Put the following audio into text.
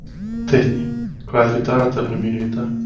Teitný, hvað er í dagatalinu mínu í dag?